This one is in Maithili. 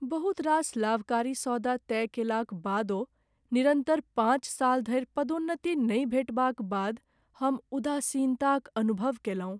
बहुत रास लाभकारी सौदा तय कयलाक बादो निरन्तर पाँच साल धरि पदोन्नति नहि भेटबाक बाद हम उदासीनताक अनुभव कएलहुँ।